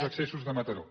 els accessos de mataró